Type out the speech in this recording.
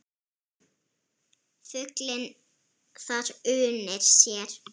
Fuglinn þar unir sér.